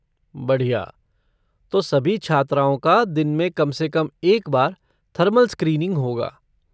बढ़िया! तो सभी छात्राओं का दिन में कम से कम एक बार थर्मल स्क्रीनिंग होगा।